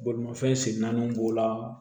Bolimafɛn sen naaniw b'o la